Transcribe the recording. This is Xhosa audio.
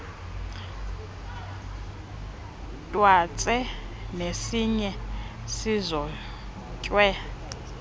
twatse nesiya sizotywe